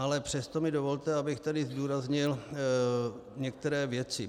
Ale přesto mi dovolte, abych tady zdůraznil některé věci.